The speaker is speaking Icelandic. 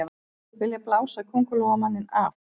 Vilja blása Kóngulóarmanninn af